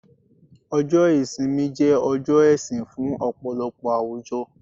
ọjọ ìsinmi je ọjọ ẹsìn fún ọpọlọpọ àwùjọ